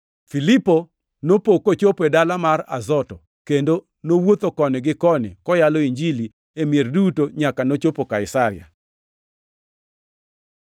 Filipo nopo kochopo e dala mar Azoto, kendo nowuotho koni gi koni, koyalo Injili e mier duto nyaka nochopo Kaisaria.